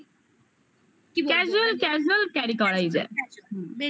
কি casual casual carry করাই যায় casual